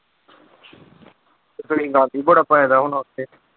ਤੁਸੀਂ ਗੰਦ ਹੀ ਬੜਾ ਪਾਇਦਾ ਹੋਣਾ ਉੱਥੇ।